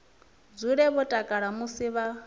dzule vho takala musi vha